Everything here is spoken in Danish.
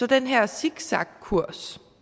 den her zigzagkurs